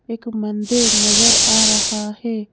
एक मंदिर नजर आ रहा है।